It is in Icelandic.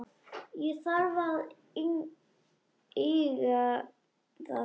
Ég þarf að laga það.